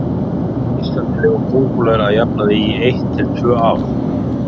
Á Íslandi lifa kóngulær að jafnaði í eitt til tvö ár.